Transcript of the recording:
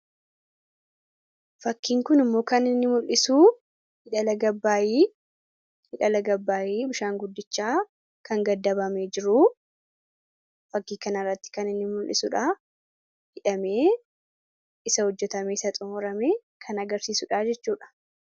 Fakkiin kun immoo kan inni mul'isuu hidha laga Abbaayii bishaan guddichaa kan gaddabame jiru fakkii kanarratti kan inni mul'isuudha. Hidhame isa hojjetame isaa xumurame kan agarsiisuudha jechuudha.